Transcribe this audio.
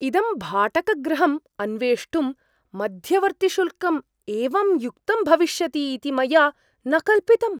इदं भाटकगृहम् अन्वेष्टुं मध्यवर्तिशुल्कं एवं युक्तं भविष्यति इति मया न कल्पितम्।